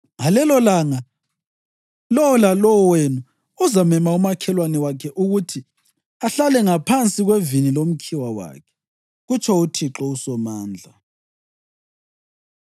Ngalelolanga lowo lalowo wenu uzamema umakhelwane wakhe ukuthi ahlale ngaphansi kwevini lomkhiwa wakhe,’ kutsho uThixo uSomandla.”